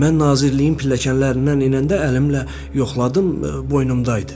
Bəli, mən nazirliyin pilləkənlərindən enəndə əlimlə yoxladım, boynumdaydı.